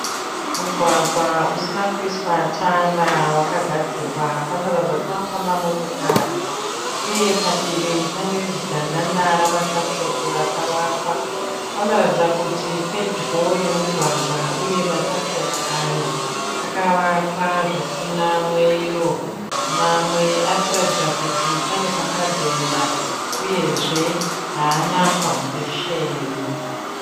Mugwagwa usina kuiswa tara wakagadzirwa. Panoratidza kuti panofamba motokari, uye padivi pane zidhandadha rakamatakishopu akavakwa. Panoratidza kuti pedyo nemugwagwa uye matakishopu aya akavakwa zvisina mwero. Mamwe arikuratidza kuti pane pamwe pakabhenda, uyezve haana faundesheni.